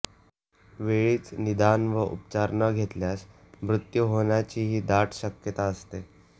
वेळीच निदान व उपचार न घेतल्यास मृत्यू होण्याचीही दाट शक्यता असते